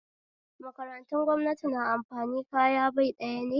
Makarantun gwamnati na amfani kaya bai ɗaya ne